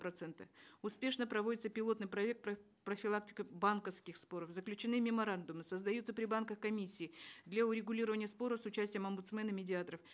процента успешно проводится пилотный проект по профилактике банковских споров заключены меморандумы создаются при банках комиссии для урегулирования споров с участием омбудсмена медиаторов